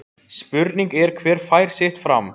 Spurning er hver fær sitt fram